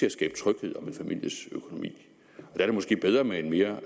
at skabe tryghed om en families økonomi der er det måske bedre med en mere